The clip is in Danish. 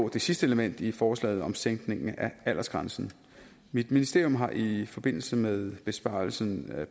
det sidste element i forslaget om sænkningen af aldersgrænsen mit ministerium har i forbindelse med besvarelsen af